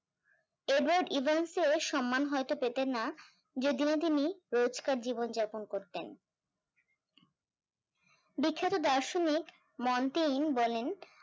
Edward এভান্সের সম্মান হয়তো পেতেন না যেদিন তিনি রোজকার জীবন যাপন করতেন, বিখ্যাত দার্শনিক বলেন